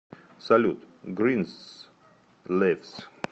салют гринсливс